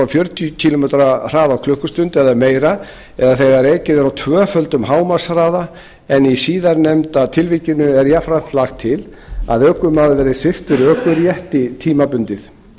fjörutíu kílómetra á klukkustund eða meira eða þegar ekið er á tvöföldum hámarkshraða en í síðarnefnda tilvikinu er jafnframt lagt til að ökumaður verði sviptur ökurétti tímabundið